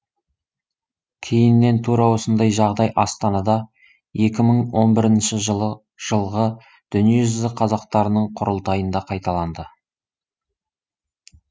кейіннен тура осындай жағдай астанада екә мың он бірініші жылғы дүниежүзі қазақтарының құрылтайында қайталанды